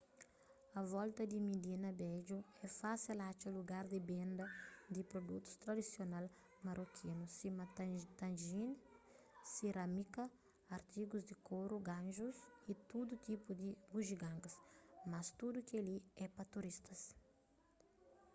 a volta di midina bedju é fásil atxa lugar di benda di produtus tradisional marokinu sima tagines sirámika artigus di koru ganxus y tudu tipu di bujigangas mas tudu kel-li é pa turistas